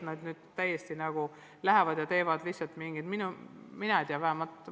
Pole nii, et õpilased nüüd lähevad ja lahendavad lihtsalt mingit ülesannet.